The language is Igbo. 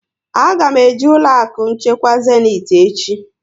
A ga m eje ụlọ akụ nchekwa Zéniti echi